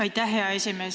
Aitäh, hea esimees!